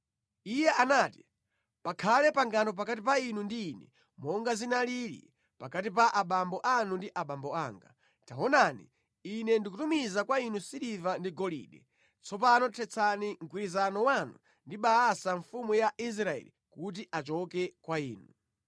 Iye anati, “Pakhale pangano pakati pa inu ndi ine, monga zinalili pakati pa abambo anu ndi abambo anga. Taonani, ine ndikutumiza kwa inu siliva ndi golide. Tsopano thetsani mgwirizano wanu ndi Baasa mfumu ya Israeli kuti achoke kwa ine.”